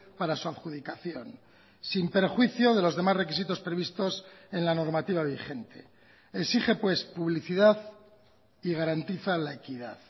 para su adjudicación sin perjuicio de los demás requisitos previstos en la normativa vigente exige pues publicidad y garantiza la equidad